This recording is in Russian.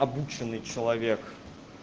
обученный человек